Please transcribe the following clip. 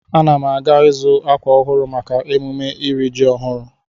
Ana m aga izu akwa ọhụrụ maka emume iri ji ọhụrụ.